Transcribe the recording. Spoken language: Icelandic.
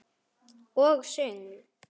Og söngl.